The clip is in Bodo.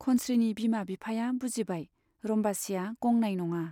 खनस्रीनि बिमा बिफाया बुजिबाय, रम्बसीया गंनाय नङा।